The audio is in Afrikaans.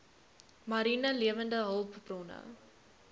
mariene lewende hulpbronne